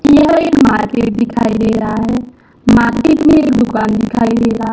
यह एक मार्केट दिखाई दे रहा है मार्केट में एक दुकान दिखाई दे रहा--